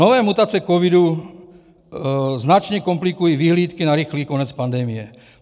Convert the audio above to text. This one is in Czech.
Nové mutace covidu značně komplikují vyhlídky na rychlý konec pandemie.